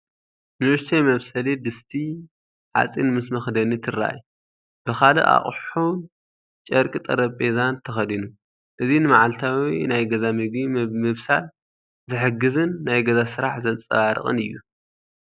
ንእሽቶይ መብሰሊ ድስቲ (ሓጺን) ምስ መኽደኒ ትራኣይ፣ ብኻልእ ኣቕሑን ጨርቂ ጠረጴዛን ተኸዲኑ። እዚ ንመዓልታዊ ናይ ገዛ ምግቢ ምብሳል ዝሕግዝን ናይ ገዛ ስራሕ ዘንጸባርቕን እዩ።